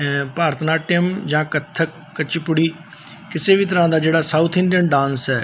ਇਹ ਭਾਰਤਨਾਟਯਮ ਜਾਂ ਕੱਥਕ ਕੱਚੀ ਪੁੜੀ ਕਿਸੇ ਵੀ ਤਰਾਂ ਦਾ ਜਿਹੜਾ ਸਾਊਥ ਇੰਡੀਅਨ ਡਾਂਸ ਐ।